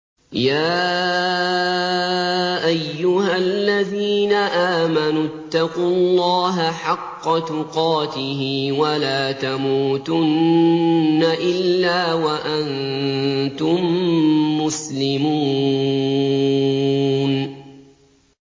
يَا أَيُّهَا الَّذِينَ آمَنُوا اتَّقُوا اللَّهَ حَقَّ تُقَاتِهِ وَلَا تَمُوتُنَّ إِلَّا وَأَنتُم مُّسْلِمُونَ